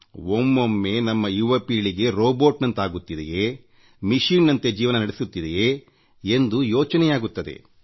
ಒಮ್ಮೊಮ್ಮೆ ನಮ್ಮ ಯುವ ಪೀಳಿಗೆ ರೊಬೋಟ್ನಂತಾಗುತ್ತಿದೆಯೇ ಯಂತ್ರಗಳಂತೆ ಜೀವನ ನಡೆಸುತ್ತಿದೆಯೇ ಎಂದು ಯೋಚನೆಯಾಗುತ್ತದೆ